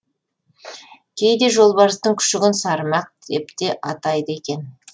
кейде жолбарыстың күшігін сарымақ деп те атайды екен